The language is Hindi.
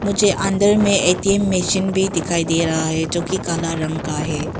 मुझे अंदर में ए_टी_एम मशीन भी दिखाई दे रहा है जो कि काला रंग का है।